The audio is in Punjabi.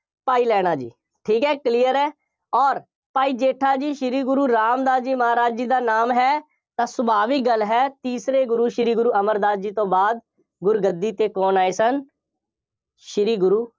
ਭਾਈ ਲਹਿਣਾ ਜੀ, ਠੀਕ ਹੈ, clear ਹੈ, ਅੋਰ, ਭਾਈ ਜੇਠਾ ਜੀ, ਸ਼੍ਰੀ ਗੁਰੂ ਰਾਮਦਾਸ ਜੀ ਮਹਾਰਾਜ ਜੀ ਦਾ ਨਾਮ ਹੈ, ਤਾਂ ਸੁਭਾਵਿਕ ਗੱਲ ਹੈ, ਤੀਸਰੇ ਗੁਰੂ ਸ਼੍ਰੀ ਗੁਰੂ ਅਮਰਦਾਸ ਜੀ ਤੋਂ ਬਾਅਦ ਗੁਰੂ ਗੱਦੀ ਤੇ ਕੌਣ ਆਏ ਸਨ। ਸ਼੍ਰੀ ਗੁਰੂ